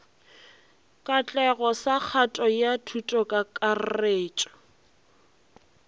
katlego sa kgato ya thutokakarretšo